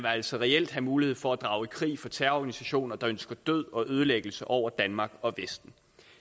altså reelt have mulighed for at drage i krig for terrororganisationer der ønsker død og ødelæggelse over danmark og vesten